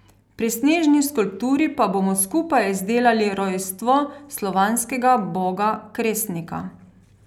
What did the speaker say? Pri snežni skulpturi pa bomo skupaj izdelali rojstvo slovanskega boga Kresnika.